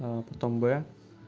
а потом бэ